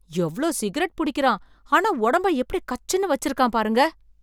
எவ்ளோ சிகரெட் புடிக்கிறான், ஆனா உடம்ப எப்படி கச்சுன்னு வச்சிருக்கான் பாருங்க!